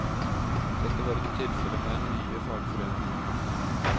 Dette var ikke tilfellet med den nye fagforeningen.